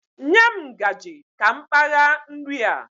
Nye m ngaji ka m kpagha nri a